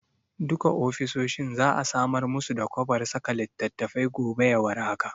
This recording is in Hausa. Duka ofisoshin za'a samar musu da kwabar saka littattafai gobe ya war haka.